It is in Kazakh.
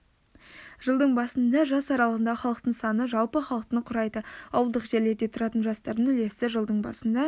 жылдың басында жас аралығындағы халықтың саны жалпы халықтың құрайды ауылдық жерлерде тұратын жастардың үлесі жылдың басында